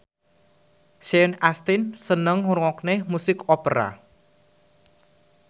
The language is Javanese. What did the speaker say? Sean Astin seneng ngrungokne musik opera